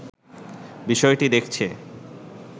বিষয়টি দেখছে